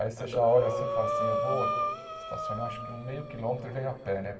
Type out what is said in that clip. Aí você já olha assim e fala assim, eu vou estacionar acho que um meio quilômetro e venho a pé, né?